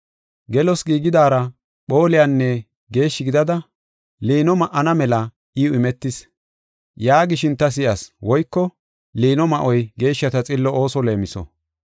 Gelos giigidaara phooliyanne geeshshi gidida liino ma7ana mela iw imetis” yaagishin ta si7as. (Liino ma7oy geeshshata xillo ooso leemiso.)